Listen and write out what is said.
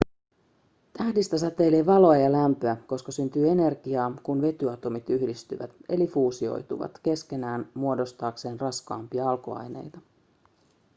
tähdistä säteilee valoa ja lämpöä koska syntyy energiaa kun vetyatomit yhdistyvät eli fuusioituvat keskenään muodostaakseen raskaampia alkuaineita